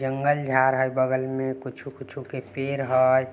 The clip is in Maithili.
जंगल-झाड़ है बगल में कुछो - कुछो पेड़ है ।